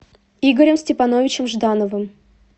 игорем степановичем ждановым